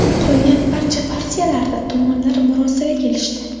Qolgan barcha partiyalarda tomonlar murosaga kelishdi.